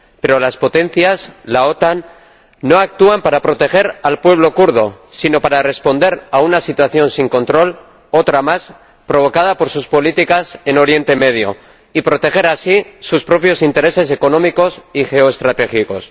Pero las potencias, la OTAN, no actúan para proteger al pueblo kurdo sino para responder a una situación sin control, otra más, provocada por sus políticas en Oriente Medio y proteger así sus propios intereses económicos y geoestratégicos.